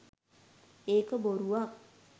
ඒක බොරුවක්.